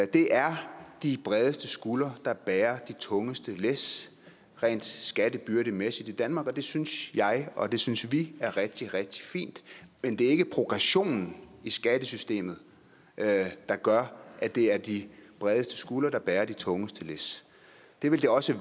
det er de bredeste skuldre der bærer de tungeste læs rent skattebyrdemæssigt i danmark og det synes jeg og det synes vi er rigtig rigtig fint men det er ikke progressionen i skattesystemet der gør at det er de bredeste skuldre der bærer de tungeste læs det ville de også